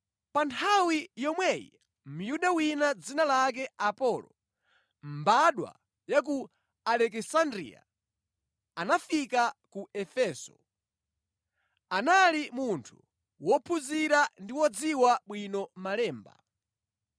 Pa nthawi yomweyi Myuda wina dzina lake Apolo, mbadwa ya ku Alekisandriya anafika ku Efeso. Anali munthu wophunzira ndi wodziwa bwino Malemba.